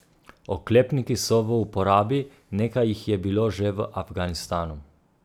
Oklepniki so v uporabi, nekaj jih je bilo že v Afganistanu.